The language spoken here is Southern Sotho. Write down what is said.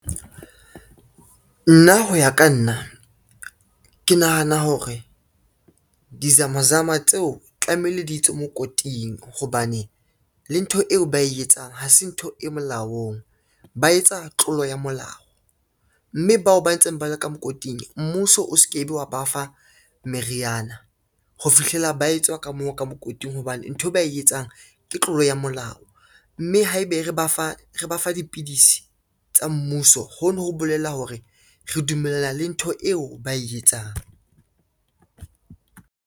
Nna ho ya ka nna, ke nahana hore di-zama-zama tseo tlamehile di tswe mokoting, hobane le ntho eo ba e etsang ha se ntho e molaong ba etsa tlolo ya molao, mme bao ba ntseng ba le ka mokoting mmuso o se ke be wa ba fa meriana ho fihlela ba etswa ka moo ka mokoting, hobane nthwe ba e etsang ke tlolo ya molao, mme haebe re ba fa dipidisi tsa mmuso hono ho bolela hore re dumellana le ntho eo ba e etsang.